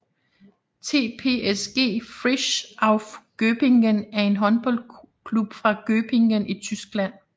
TPSG Frisch Auf Göppingen er en håndboldklub fra Göppingen i Tyskland